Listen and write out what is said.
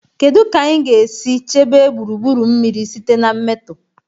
Kedu ka anyị ga-esi chebe gburugburu mmiri site na mmetọ?